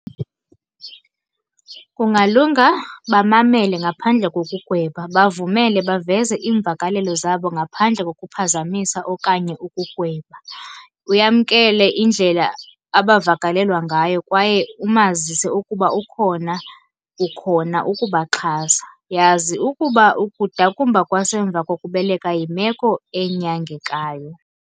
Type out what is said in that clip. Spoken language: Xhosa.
Kungalunga bamamele ngaphandle kokugweba, bavumele baveze iimvakalelo zabo ngaphandle kokuphazamisa okanye ukugweba. Uyamkele indlela abavakalelwa ngayo kwaye umazise ukuba ukhona, ukhona ukubaxhasa. Yazi ukuba ukudakumba kwasemva kokubeleka yimeko enyangekayo.